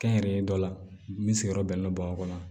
Kɛnyɛrɛye dɔ la min sigiyɔrɔ bɛnnen don bamakɔ yan